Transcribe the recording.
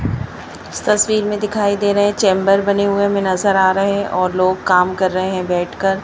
इस तस्वीर में दिखाई दे रहे है चैंबर बने हुए में नजर आ रहे है और लोग काम कर रहे है बैठ कर।